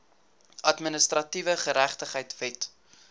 administratiewe geregtigheid wet